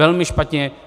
Velmi špatně.